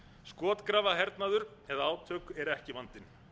skotgrafahernaður eða átök eru ekki vandinn